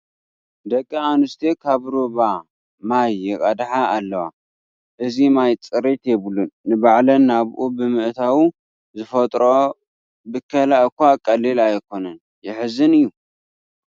ደቂ ኣንስትዮ ካብ ሩባ ማይ ይቐድሓ ኣለዋ፡፡ እዚ ማይ ፅሬት የብሉን፡፡ ንባዕለን ናብኡ ብምእታው ዝፈጥርኦ ብከላ እዃ ቀሊል ኣይኮነን፡፡ የሕዝን እዩ፡፡